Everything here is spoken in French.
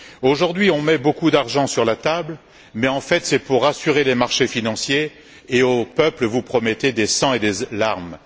Aujourd'hui, on met beaucoup d'argent sur la table mais en fait, c'est pour rassurer les marchés financiers, tandis qu'au peuple, vous promettez du sang et des larmes.